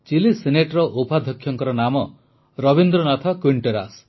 chilli ସିନେଟ୍ର ଉପାଧ୍ୟକ୍ଷଙ୍କ ନାମ ରବୀନ୍ଦ୍ରନାଥ କ୍ୱିଟେରାସ୍